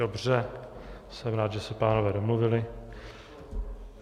Dobře, jsem rád, že se pánové domluvili.